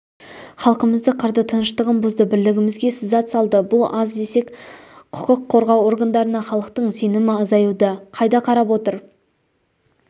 халқымызды қырды тыныштығын бұзды бірлігімізге сызат салды бұл аз десек құқық қорғау органдарына халықтың сенімі азаюда қайда қарап отыр